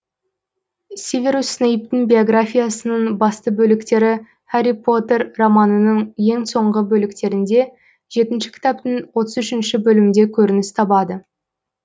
северус снейптың биографиясының басты бөліктері хәрри поттер романының ең соңғы бөліктерінде жетінші кітаптың отыз үшінші бөлімде көрініс табады